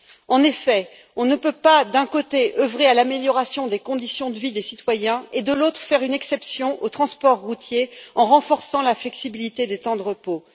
En effet, on ne peut pas, d'un côté, œuvrer à l'amélioration des conditions de vie des citoyens et, de l'autre, faire une exception au transport routier en renforçant la flexibilité des temps de repos.